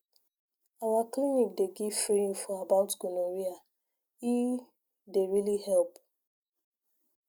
our clinic dey give free info about gonorrhea e dey really help